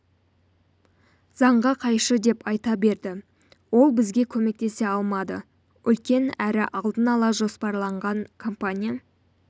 заңға қайшы деп айта берді ол бізге көмектесе алмады үлкен әрі алдын ала жоспарланған компания